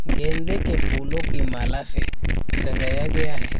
गेंदे के फूलों की माला से सजाया गया है।